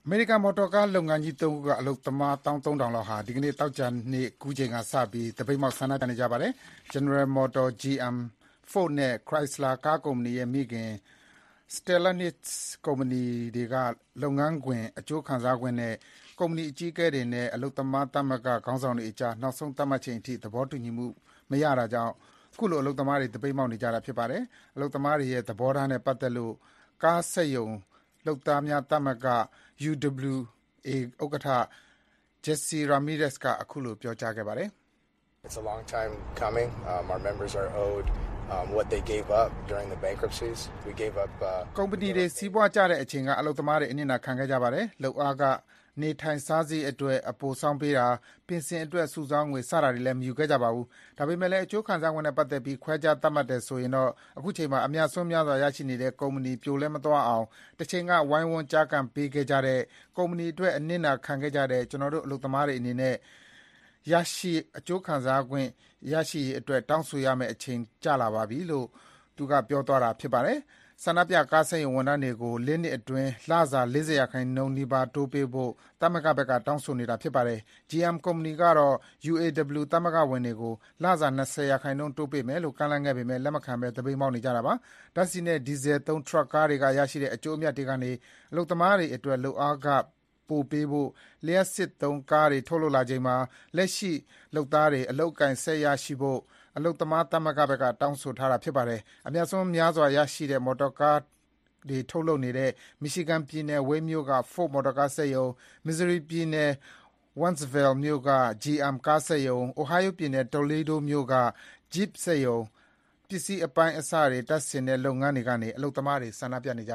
မေရိကန် မော်တော်ကားလုပ်ငန်းကြီး ၃ ခုက အလုပ်သမား ၁၃,၀၀၀ လောက်ဟာ ဒီကနေ့ သောကြာနေ့ကူးချိန်ကစပြီး သပိတ်မှောက် ဆန္ဒပြနေကြပါတယ်။ General Motors (GM), Ford နဲ့ Chrysler ကားကုမ္ပဏီရဲ့ မိခင် Stellantis ကုမ္ပဏီတွေက လုပ်ငန်းခွင် အကျိုးခံစားခွင့်နဲ့ ကုမ္ပဏီအကြီးအကဲတွေနဲ့ အလုပ်သမားသမဂ္ဂခေါင်းဆောင်တွေကြား နောက်ဆုံးသတ်မှတ်ချိန်အထိ သဘောတူညီမှု မရတာကြောင့် ခုလိုအလုပ်သမားတွေ သပိတ်မှောက်နေကြတာဖြစ်ပါတယ်။ အလုပ်သမားတွေရဲ့ သဘောထားနဲ့ပတ်သက်လို့ ကားစက်ရုံလုပ်သားများသမဂ္ဂ UAW ဥက္ကဋ္ဌ Jesse Ramirez က ခုလိုပြောကြားခဲ့ပါတယ်။ “ကုမ္ပဏီတွေ စီးပွားကျဆင်းခဲ့တဲ့အချိန်က အလုပ်သမားတွေ အနစ်နာခံခဲ့ကြပါတယ်။ လုပ်အားခ၊ နေထိုင်စားရိတ်အတွက် အပိုဆောင်းပေးတာ၊ ပင်စင်အတွက် စုဆောင်းငွေ စတာတွေလည်း မယူခဲ့ကြပါဘူး။ ဒါပေမယ့်လည်း အကျိုးခံစားခွင့်နဲ့ ပတ်သက်ပြီး ခွဲခြားသတ်မှတ်တယ်ဆိုရင်တော့ အခုချိန်မှာ အမြတ်အစွန်းများစွာ ရရှိနေတဲ့ကုမ္ပဏီ ပြိုလဲမသွားအောင် တချိန်က ဝိုင်းဝန်း ကျားကန်ပေးခဲ့ကြတဲ့၊ ဒီကုမ္ပဏီအတွက် အနစ်နာခံခဲ့ကြတဲ့ ကျနော်တို့ အလုပ်သမားတွေအနေနဲ့ ကိုယ်ရရှိရမယ့် အခွင့်အရေးအတွက် တောင်းဆိုရမယ့် အချိန်ကျလာပြီ” - လို့ ကားစက်ရုံလုပ်သားများသမဂ္ဂ UAW ဥက္ကဋ္ဌ Jesse Ramirez က ပြောသွားတာဖြစ်ပါတယ်။ ဆန္ဒပြကားစက်ရုံဝန်ထမ်းတွေကို ၄ နှစ်အတွင်း လစာ ၄၀ ရာခိုင်နှုန်းနီးပါး တိုးပေးဖို့ သမဂ္ဂဘက်က တောင်းဆိုနေတာဖြစ်ပါတယ်။ GM ကုမ္ပဏီကတော့ UAW သမဂ္ဂဝင်တွေကို လစာ ၂၀ ရာခိုင်နှုန်းပေးမယ်လို့ ကမ်းလှမ်းခဲ့ပေမဲ့ လက်မခံဘဲ သပိတ်မှောက်နေကြပါတယ်။ ဓါတ်ဆီနဲ့ ဒီဇယ်သုံး ထရပ်ကားတွေကရရှိတဲ့ အကျိုးအမြတ်တွေကနေ အလုပ်သမားတွေအတွက် လုပ်အားခ ပိုပေးဖို့၊ လျှပ်စစ်သုံးကားတွေ ထုတ်လုပ်လာချိန်မှာ လက်ရှိလုပ်သားတွေ အလုပ်အကိုင် ဆက်ရရှိဖို့၊ အလုပ်သမားသမဂ္ဂဘက်က တောင်းဆိုထားပါတယ်။ အမြတ်အစွန်းများစွာရရှိတဲ့ မော်တော်ကားတွေ ထုတ်လုပ်တဲ့ Michigan ပြည်နယ်၊ Wayne မြို့က Ford မော်တော်ကားစက်ရုံ၊ Missouri ပြည်နယ်၊ Wentzville မြို့က GM ကားစက်ရုံ၊ Ohio ပြည်နယ်၊ Toledo မြို့က Jeep စက်ရုံ၊ ပစ္စည်းအပိုင်းအစတွေတပ်ဆင်တဲ့ လုပ်ငန်းခွင်ကနေ အလုပ်သမားတွေ ဆန္ဒပြနေကြ